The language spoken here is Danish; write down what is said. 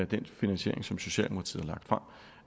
den finansiering som socialdemokratiet